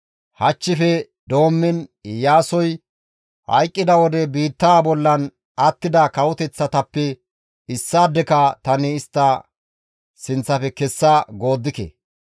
hachchife doommiin Iyaasoy hayqqida wode biittaa bollan attida kawoteththatappe issaadeka tani istta sinththafe kessa gooddike.